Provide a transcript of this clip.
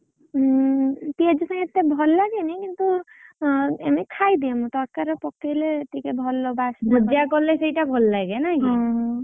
ହୁଁ ପିଆଜ ସାଇଁ ଏତେ ଭଲ ଲାଗେନି କିନ୍ତୁ ଏମିତି ଖାଇଦିଏ ତକାରୀ ରେ ପକେଇଲେ ଟିକେ ଭଲ ବାସେ। ଭୁଜିଆ କଲେ ସେଇଟା ଭଲ ଲାଗେ ନାଇଁ କି?